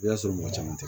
I y'a sɔrɔ mɔgɔ caman tɛ